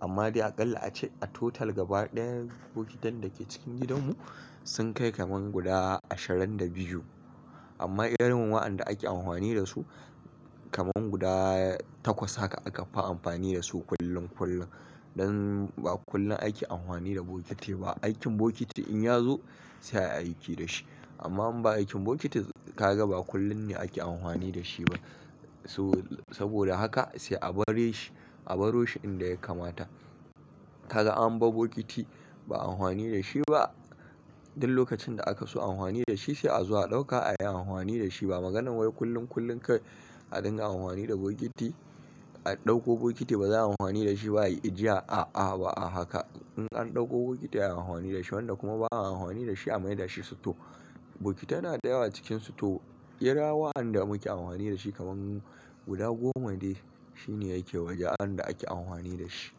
Amma dai aƙalla a ce a total gaba ɗaya bokitan da ke cikin gidanmu sun kai kamar guda ashirin da biyu. Amma irin wa'anda ake anhwani da su, kamar guda takwas haka aka fi amfani da su kullum kullum. Don ba kullum ake amfani da bokiti ba. Aikin bokiti in ya zo sai ayi aiki da shi. Amma in ba aikin bokiti ka ga ba kullum ne ake anhwani da shi ba. So, saboda haka sai a bare shi, a baro shi inda ya kamata. Ka ga an bar bokiti ba anhwani da shi ba, duk lokacin da aka so anhwani da shi sai azo a ɗauka ayi anhwani da shi. Ba maganan wai kullum kullum ka a dinga amfani da bokiti, a ɗauko bokiti ba za a yi anhwani da shi ba, ayi ajiya, a'a ba a haka. In an ɗauko bokiti ayi anhwani da shi wanda kuma ba a amfani da shi a mai dashi sito. Bokitai na da yawa cikin sito, kira wa'anda muke anhwani da shi kamar guda goma dai shi ne yake waje wanda ake anhwani da shi.